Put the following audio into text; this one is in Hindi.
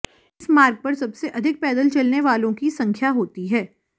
इस मार्ग पर सबसे अधिक पैदल चलने वालों की संख्या होती है